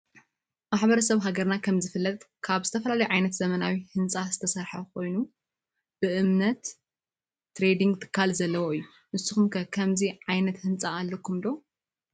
ማሕበረሰብ ሃገርና ከም ዝፍለጥ ከብ ዝተፈላለዮ ዓይነት ዘመናዊ ህንፃ ዝተሰርሐ ኮይኑ በእምነት ትሬድንግ ትካል ዘለዎ እዮ ። ንሰኩም ከ ከምዚ ዓይነት ህንፃ አለኩም ዶ ?